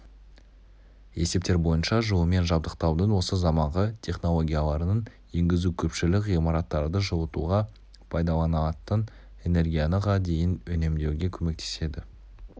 есептер бойынша жылумен жабдықтаудың осы заманғы технологияларын енгізу көпшілік ғимараттарды жылытуға пайдаланылатын энергияны ға дейін үнемдеуге көмектеседі